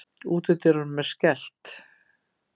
Útidyrunum er skellt.